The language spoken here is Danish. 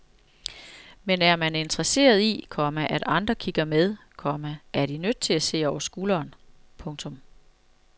Men er man interesseret i, komma at andre kigger med, komma er de nødt til at se over skulderen. punktum